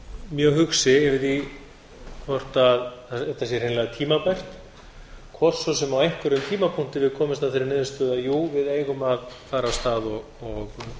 mjög hugsi yfir því hvort þetta sé hreinlega tímabært hvort svo sem á einhverjum tímapunkti við komumst að þeirri niðurstöðu jú við eigum að fara á stað og